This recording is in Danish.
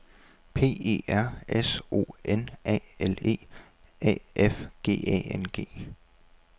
P E R S O N A L E A F G A N G